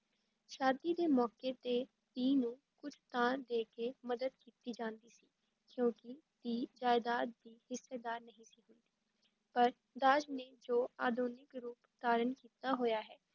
ਸ਼ਾਦੀ ਦੇ ਮੌਕੇ ਤੇ ਧੀ ਨੂੰ ਕੁੱਝ ਤਾਂ ਦੇ ਕੇ ਮਦਦ ਕੀਤੀ ਜਾਂਦੀ ਸੀ, ਕਿਉਂਕਿ ਧੀ ਜਾਇਦਾਦ ਦੀ ਹਿੱਸੇਦਾਰ ਨਹੀਂ ਸੀ ਹੁੰਦੀ ਪਰ ਦਾਜ ਨੇ ਜੋ ਆਧੁਨਿਕ ਰੂਪ ਧਾਰਨ ਕੀਤਾ ਹੋਇਆ ਹੈ,